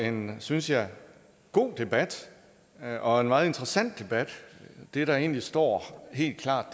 en synes jeg god debat og en meget interessant debat det der egentlig står helt klart